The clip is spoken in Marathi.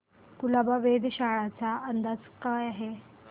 कुलाबा वेधशाळेचा आजचा अंदाज काय आहे